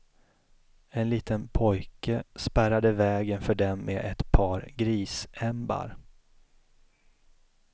En liten pojke spärrade vägen för dem med ett par grisämbar.